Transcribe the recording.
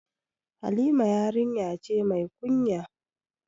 Halima yarinya ce mai kunya